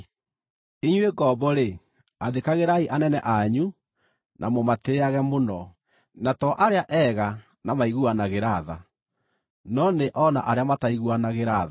Inyuĩ ngombo-rĩ, athĩkagĩrai anene anyu na mũmatĩĩage mũno, na to arĩa ega na maiguanagĩra tha, no nĩ o na arĩa mataiguanagĩra tha.